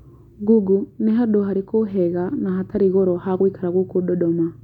google nĩ handũ harĩkũ henga na hatarĩ ngoro ha gũĩkira gũku dodoma